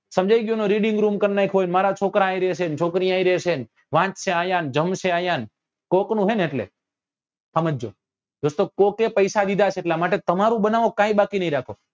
સમાંજયી ગયું ને reading room કર નાખ્યો અને મારા છોકરા અહી રેસે ને છોકરી અહી રેસે ને વાંચશે અહિયાં ને જામશે અહિયાં કોક નું હે ને એટલે સમજજો દોસ્તો કોકે પૈસા દીધા છે એટલા માટે તમારું બનાવો કઈ બાકી નહિ રાખો